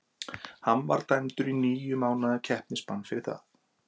Hann var dæmdur í níu mánaða keppnisbann fyrir það.